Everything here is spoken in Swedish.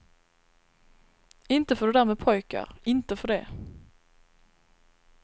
Inte för det där med pojkar, inte för det.